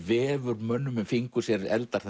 vefur mönnum um fingur sér eldar